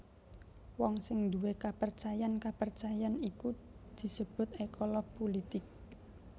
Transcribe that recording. Wong sing nduwé kapercayan kapercayan iku disebut ékolog pulitik